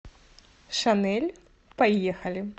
шанель поехали